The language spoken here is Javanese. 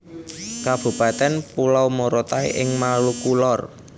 Kabupatèn Pulau Morotai ing Maluku Lor